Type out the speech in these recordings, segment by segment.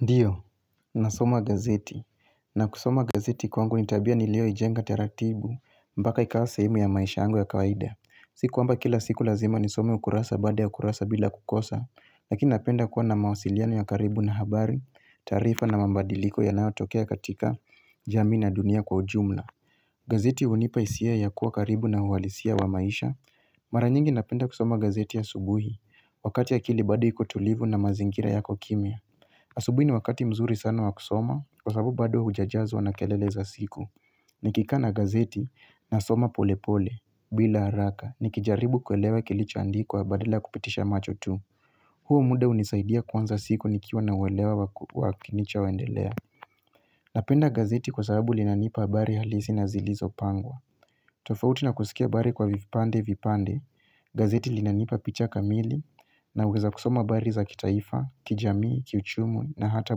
Ndiyo, nasoma gazeti, na kusoma gazeti kwangu ni tabia nilioijenga taratibu mbaka ikawa sehemu ya maisha yangu ya kawaida Si kuamba kila siku lazima nisome ukurasa bada ya ukurasa bila kukosa Lakini napenda kuwa na mawasiliano ya karibu na habari, tarifa na mambadiliko ya nayotokea katika jami na dunia kwa ujumla gazeti unipa hisia ya kuwa karibu na uwalisia wa maisha Mara nyingi napenda kusoma gazeti ya subuhi, wakati akili bado iko tulivu na mazingira yako kimya Asubi ni wakati mzuri sana wa kusoma kwa sababu bado hujajazo na kelele za siku. Nikika na gazeti na soma pole pole bila haraka. Nikijaribu kuelewa kilichoandikwa badila kupitisha macho tu. Huo muda unisaidia kwanza siku nikiwa na uelewa wakinicha waendelea. Napenda gazeti kwa sababu linanipa habari halisi na zilizo pangwa. Tofauti na kusikia habari kwa vipande vipande. Gazeti linanipa picha kamili na uweza kusoma habari za kitaifa, kijamii, kichumu na hata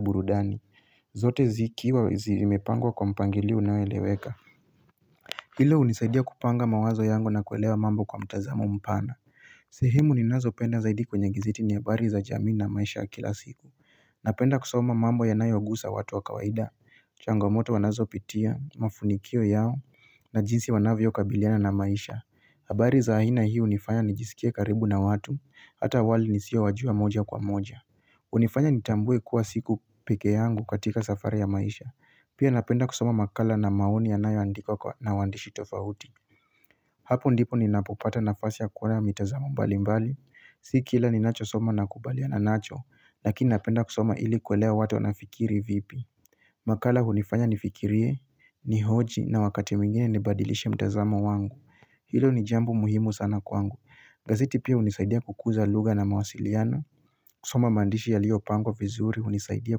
burudani zote zikiwa zimepangwa kwa mpangilio naweleweka Hilo unisaidia kupanga mawazo yangu na kuelewa mambo kwa mtazamo mpana sehemu ninazo penda zaidi kwenye giziti ni abari za jamii na maisha kila siku Napenda kusoma mambo yanayogusa watu wa kawaida Changamoto wanazopitia, mafunikio yao na jinsi wanavyo kabiliana na maisha abari za aina hii unifanya nijisikie karibu na watu Hata wali nisiwa wajua moja kwa moja unifanya nitambue kuwa siko peke yangu katika safari ya maisha Pia napenda kusoma makala na maoni yanayoandikwa na wandishi tofahuti Hapo ndipo ninapopata nafasi ya kuwa mitazamo mbali mbali Si kila ninacho soma nakubaliana nacho Lakini napenda kusoma ili kwelea watu na fikiri vipi makala unifanya nifikirie Nihoji na wakati mingine nibadilishe mtazamo wangu Hilo ni jambo muhimu sana kwangu Gaziti pia unisaidia kukuza lugha na mawasiliana kusoma mandishi yaliopangwa vizuri unisaidia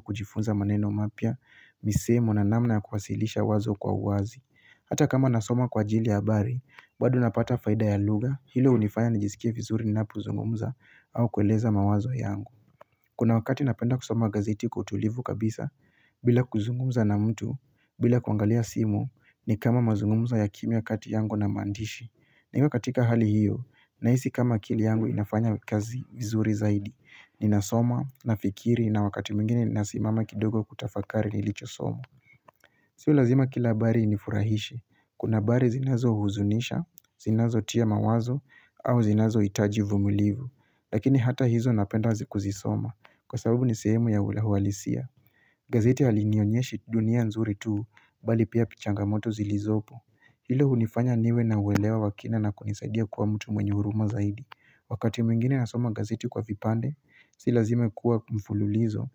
kujifunza maneno mapia, misemo na namna ya kuwasilisha wazo kwa uazi. Hata kama nasoma kwa jili ya abari, bado napata faida ya lugha, hilo unifaya najisikia vizuri ni napu zungumza au kueleza mawazo yangu. Kuna wakati napenda kusoma gazeti kwa utulivu kabisa, bila kuzungumza na mtu, bila kuangalia simu, ni kama mazungumzo ya kimya kati yangu na mandishi. Na ima katika hali hiyo, naisi kama kili yangu inafanya kazi vizuri zaidi, ninasoma, nafikiri na wakati mingine nasimama kidogo kutafakari nilicho somo Sio lazima kilabari inifurahishi, kuna bari zinazo huzunisha, zinazo tia mawazo, au zinazohitaji uvumulivu Lakini hata hizo napenda zikuzisoma, kwa sababu ni sehemu ya ulawalisia gazeti halinyonyeshi dunia nzuri tuu, bali pia pichangamoto zilizopo Hilo hunifanya niwe na uwelewa wa kina na kunisadia kuwa mtu mwenye huruma zaidi. Wakati mwingine nasoma gazeti kwa vipande, si lazima kuwa kumfululizo.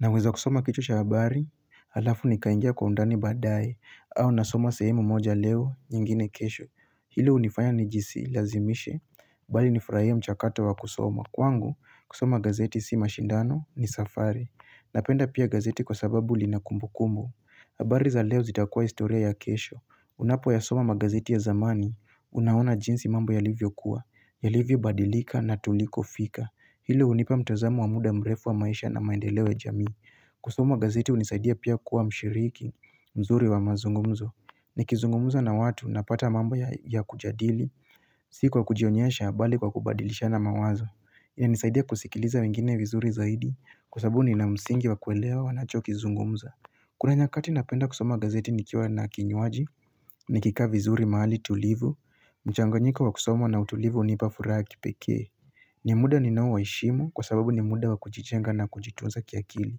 Na weza kusoma kichwa habari, alafu nikaingia kwa undani badaye, au nasoma sehemu moja leo, nyingine kesho. Hilo unifanya ni jisilazimishe, bali nifuraie mchakato wa kusoma. Kwangu, kusoma gazeti si mashindano ni safari. Napenda pia gazeti kwa sababu lina kumbu kumbu. Habari za leo zitakua historia ya kesho. Unapo ya soma magazeti ya zamani, unaona jinsi mambo ya livyokuwa ya livyo badilika na tuliko fika Hilo unipa mtazamu wa muda mrefu wa maisha na maendelewe jamii kusoma magazeti unisaidia pia kuwa mshiriki mzuri wa mazungumzo Nikizungumza na watu napata mambo ya kujadili siku kwa kujionyesha bali kwa kubadilisha na mawazo inanisaidia kusikiliza wengine vizuri zaidi Kusabu ni na msingi wa kuelewa nachokizungumza Kuna nyakati napenda kusoma magazeti nikiwa na kinyuaji Nikikaa vizuri mahali tulivu mchanganyiko wa kusomo na utulivu unipa furaha ya kipeke ni muda ninaowaishimo kwa sababu ni muda wa kuchichenga na kuchitunza kiakili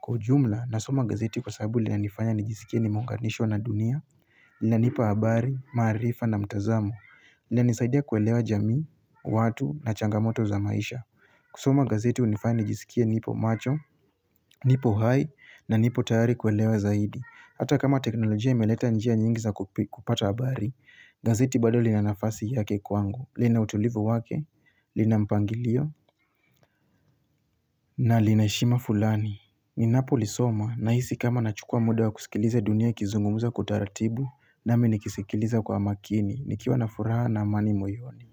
Kwa ujumla na soma gazeti kwa sababu lila nifanya nijisikie nimeunganishwa na dunia Lila nipa habari, marifa na mtazamo Lilanisaidia kuelewa jami, watu na changamoto za maisha kusoma gazeti unifanya nijisikia nipo macho, nipo hai na nipo tayari kuelewa zaidi Hata kama teknolojia imeleta njia nyingi za kupata abari gazeti bado lina nafasi yake kwangu lina utulivu wake lina mpangilio na lina heshima fulani ninapolisoma na hisi kama nachukua muda wa kusikiliza dunia kizungumuza kutaratibu na minikisikiliza kwa makini Nikiwa na furaha na mani moyoni.